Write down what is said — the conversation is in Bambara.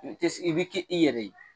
I bɛ kɛ i yɛrɛ ye.